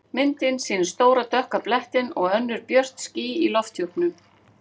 Myndin sýnir stóra dökka blettinn og önnur björt ský í lofthjúpnum.